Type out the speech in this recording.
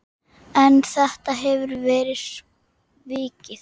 En þetta hefur verið svikið.